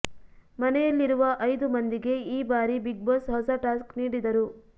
ಮನೆಯಲ್ಲಿರುವ ಐದು ಮಂದಿಗೆ ಈ ಬಾರಿ ಬಿಗ್ ಬಾಸ್ ಹೊಸ ಟಾಸ್ಕ್ ನೀಡಿದರು